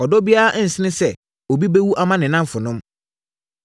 Ɔdɔ biara nsene sɛ obi bɛwu ama ne nnamfonom.